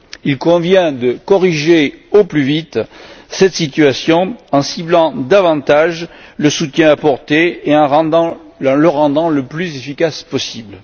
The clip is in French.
Il convient de corriger au plus vite cette situation en ciblant davantage le soutien apporté et en le rendant le plus efficace possible.